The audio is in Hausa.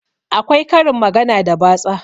Akwai karin magana da batsa